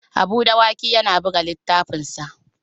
Habu Dawaki yana buga littafinsa.